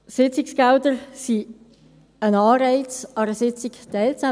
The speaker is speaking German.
Sitzungsgelder sind ein Anreiz, um an einer Sitzung teilzunehmen.